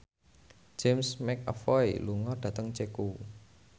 James McAvoy lunga dhateng Ceko